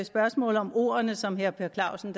spørgsmålet om ordene som herre per clausen